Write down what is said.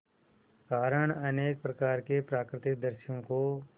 कारण अनेक प्रकार के प्राकृतिक दृश्यों को